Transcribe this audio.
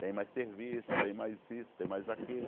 Tem mais serviço, tem mais isso, tem mais aquilo.